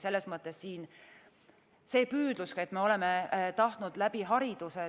Selles mõttes püüdlus, et me oleme tahtnud läbi hariduse